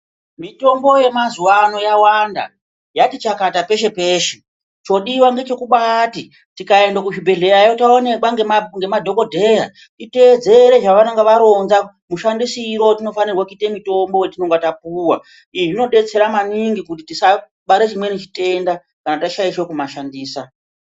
Mitombo yemazuva ano yawanda yati chakata peshe peshe zvodiwa ndechekuti tikaenda kuzvibhedhlera nemadhokodheya kuita detsere zvavanenge varonza mashandisiro atofanabkuita mitombo yatinenge tapuwa izvi zvinodetsera maningi tisabatwa chimweni chitenda chatinege taishandisa.